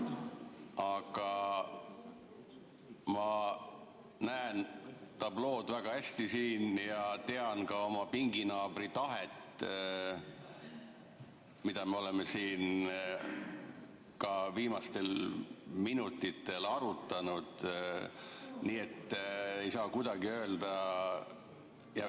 Aga ma näen tablood väga hästi ja tean ka oma pinginaabri tahet, mida me oleme siin viimastel minutitel arutanud.